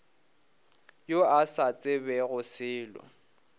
yo a sa tsebego selo